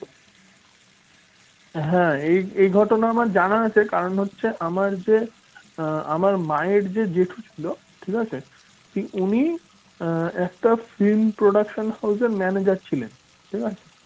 হ্যাঁ এই ঘটনা আমার জানা আছে কারণ হচ্ছে আমার যে আমার মায়ের যা জেঠু ছিল ঠিক আছে উনি একটা film production house manager ছিলন ঠিক আছে